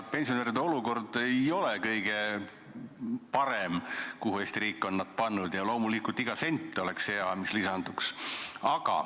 Pensionäride olukord, kuhu Eesti riik on nad pannud, ei ole kõige parem ja loomulikult oleks hea iga sent, mis lisanduks.